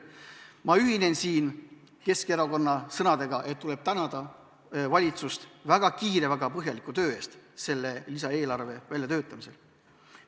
Ma ühinen Keskerakonna sõnadega, et tuleb tänada valitsust väga kiire ja põhjaliku töö eest, mis lisaeelarve väljatöötamisel on tehtud.